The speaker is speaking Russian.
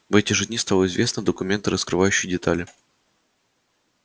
в эти же дни стало известно документы раскрывающие детали